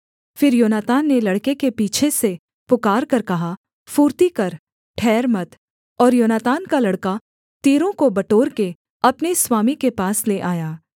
फिर योनातान ने लड़के के पीछे से पुकारकर कहा फुर्ती कर ठहर मत और योनातान का लड़का तीरों को बटोरके अपने स्वामी के पास ले आया